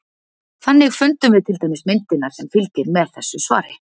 Þannig fundum við til dæmis myndina sem fylgir með þessu svari.